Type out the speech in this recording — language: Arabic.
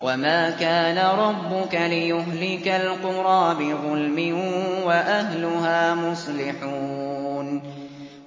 وَمَا كَانَ رَبُّكَ لِيُهْلِكَ الْقُرَىٰ بِظُلْمٍ وَأَهْلُهَا مُصْلِحُونَ